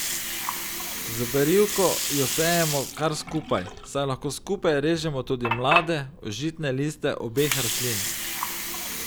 Z berivko jo sejemo kar skupaj, saj lahko skupaj režemo tudi mlade, užitne liste obeh rastlin.